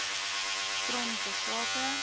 trom ter sake